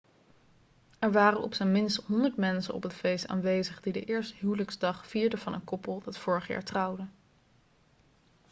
er waren op zijn minst 100 mensen op het feest aanwezig die de eerste huwelijksdag vierden van een koppel dat vorig jaar trouwde